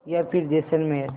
या फिर जैसलमेर